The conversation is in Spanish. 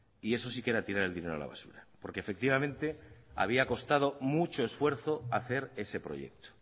y eso sí que era tirar el dinero a la basura porque efectivamente había costado mucho esfuerzo hacer ese proyecto